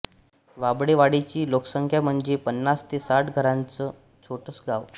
वाबळेवाडीची लोकसंख्या म्हणजे पन्नास ते साठ घरांच छोटस गाव